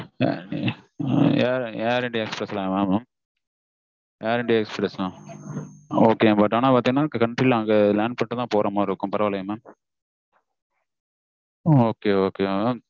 ஆஹ் yeah air india express தான் mam air india express தான் okay ங்க but land பண்ணி தான் போகுற மாதிரி இருக்கும் ok வா mam